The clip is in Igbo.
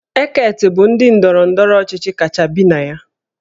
Eket bụ ndị ndọrọ ndọrọ ọchịchị kacha elu bi na ya